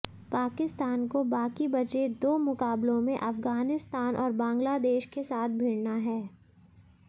पाकिस्तान को बाकी बचे दो मुकाबलों में अफगानिस्तान और बांग्लादेश के साथ भिड़ना है